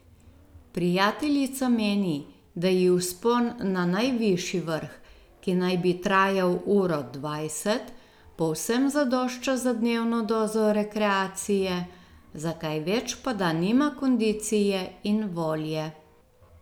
Prijateljica meni, da ji vzpon na najvišji vrh, ki naj bi trajal uro dvajset, povsem zadošča za dnevno dozo rekreacije, za kaj več pa da nima kondicije in volje.